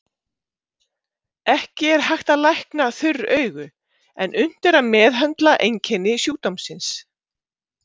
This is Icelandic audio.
Ekki er hægt að lækna þurr augu en unnt er að meðhöndla einkenni sjúkdómsins.